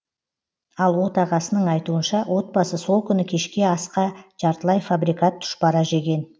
ал отағасының айтуынша отбасы сол күні кешкі асқа жартылай фабрикат тұшпара жеген